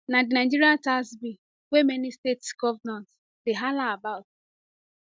na di nigeria tax bill wey many states govnors dey hala about